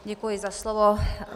Děkuji za slovo.